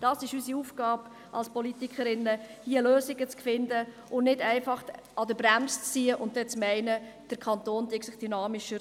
– Dies ist unsere Aufgabe als Politikerinnen und Politiker, hier Lösungen zu finden und nicht einfach an der Bremse zu ziehen und zu meinen, der Kanton entwickle sich dynamischer.